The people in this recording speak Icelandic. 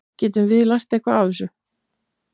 Getum við lært eitthvað af þessu?